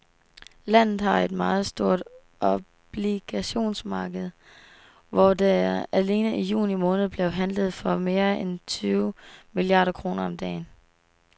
Landet har et meget stort obligationsmarked, hvor der alene i juni måned blev handlet for mere end tyve milliarder kroner om dagen.